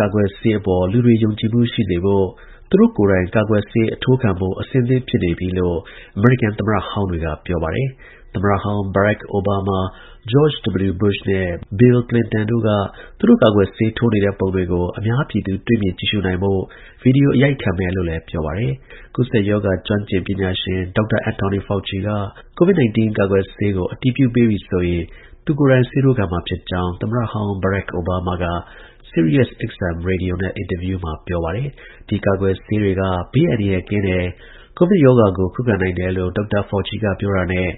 ကာကွယ်ဆေးအပေါ် လူတွေ ယုံကြည်မှု ရှိစေဖို့ သူတို့ကိုယ်တိုင် ကာကွယ်ဆေး အထိုးခံဖို့ အဆင့်သင့် ဖြစ်နေပြီလို့ အမေရိကန် သမ္မတဟောင်းတွေက ပြောပါတယ်။ သမ္မတဟောင်း Barack Obama ၊ George W. Bush နဲ့ Bill Clinton တို့က သူတို့ ကာကွယ်ဆေး ထိုးနေတဲ့ ပုံတွေကို အများပြည်သူ တွေ့မြင် ကြည့်ရှုနိုင်ဖို့ ဗွီဒီယို အရိုက်ခံမယ်လို့လည်း ပြောပါတယ်။ ကူးစက်ရောဂါ ကျွမ်းကျင်ပညာရှင် ဒေါက်တာ Anthony Fauci က COVID-19 ကာကွယ်ဆေးကို အတည်ပြုပေးပြီဆိုရင် သူကိုယ်တိုင် ဆေးထိုးခံမှာဖြစ်ကြောင်း သမ္မတ ဟောင်း Barack Obama က Sirius XM ရေဒီယိုနဲ့ အင်တာဗျူးမှာ ပြောပါတယ်။ ဒီကာကွယ်ဆေးတွေက ဘေးအန္တရာယ်ကင်းတယ်။ COVID ရောဂါကို ခုခံနိုင်တယ်လို့ ဒေါက်တာ Fauci က ပြောတာနဲ့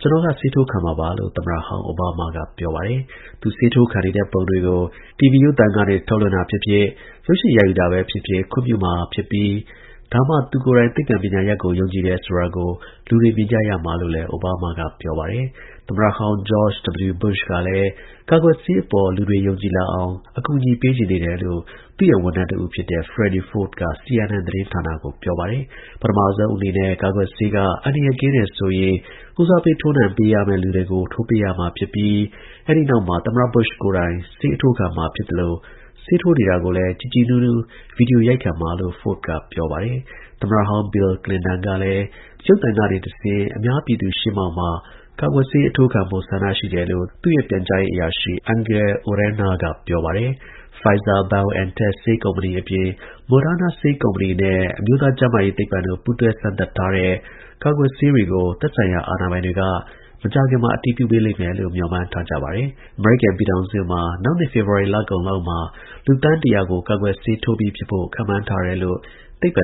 ကျွန်တော်က ဆေးထိုးခံမှာပါလို့ သမ္မတဟောင်း Obama ကပြောပါတယ်။ သူဆေးထိုးခံနေတဲ့ ပုံတွေကို TV ရုပ်သံကနေ ထုတ်လွှင့်တာဖြစ်ဖြစ်၊ ရုပ်ရှင်ရိုက်ယူတာပဲဖြစ်ဖြစ် ခွင့်ပြုမှာဖြစ်ပြီး ဒါမှ သူကိုယ်တိုင် သိပ္ပံ ပညာရပ်ကို ယုံကြည်တယ်ဆိုတာကို လူတွေ မြင်ကြမှာလို့လည်း Obama ကပြောပါတယ်။ သမ္မတဟောင်း George W. Bush ကလည်း ကာကွယ်ဆေးအပေါ် လူတွေ ယုံကြည်လာအောင် အကူအညီ ပေးချင်နေတယ်လို့ သူ့ရဲ့ ဝန်ထမ်းတဦးဖြစ်တဲ့ Freddy Ford က CNN သတင်းကို ပြောပါတယ်၊ ပထမဦးဆုံးအနေနဲ့ ကာကွယ်ဆေးက အန္တရာယ်ကင်း တယ်ဆိုရင် ဦးစားပေး ထိုးနှံပေးထိုးနှံရမယ့် လူတွေထိုးပေးရမှာ ဖြစ်ပြီး အဲဒီ နောက်မှာ သမ္မတ Bush ကိုယ်တိုင် ဆေးအထိုးခံမှာ ဖြစ်သလို ဆေးထိုးနေတာကိုလည်း ကြည်ကြည်နူးနူး ဗွီဒီယိုရိုက်ခံမှာလို့ Ford က ပြောပါတယ်။ သမ္မတဟောင်း Bill Clinton ကလည်းရုပ်သံကနေတဆင့် အများပြည်သူရှေ့မှာ ကာကွယ်ဆေးအထိုးခံဖို့ ဆန္ဒရှိတယ်လို့သူ့ရဲ့ပြန်ကြားရေး အရာရှိ Angel Urena က ပြောပါတယ်။ Pfizer-BioNTech ဆေးကုမ္ပဏီအပြင် Moderna ဆေးကုမ္ပဏီနဲ့ အမျိုးသား ကျန်းမာရေးသိပ္ပံတို့ ပူးတွဲစမ်းသပ်ထားတဲ့ ကာကွယ်ဆေး တွေ ကို သက်ဆိုင်ရာအာဏာပိုင်တွေက မကြာခင်မှာ အတည်ပြုပေးလိမ့်မယ်လို့ မျှော်မှန်းထားကြပါတယ်။ အမေရိကန်ပြည်ထောင်စု မှာ နောက်နှစ် ဖေဖော် ဝါရီ လကုန်ပိုင်းလောက်မှာ လူသန်း ၁၀၀ ကို ကာကွယ်ဆေးထိုးပေးပြီးဖြစ်ဖို့ ခန့်မှန်းထားတယ် လို့ သိပ္ပံ